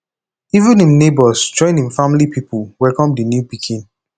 even im nebors join im family pipo welcome di new pikin